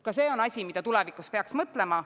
Ka see on asi, millele tulevikus peaks mõtlema.